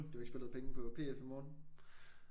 Du har ikke spillet penge på PF i morgen?